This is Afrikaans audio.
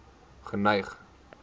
geneig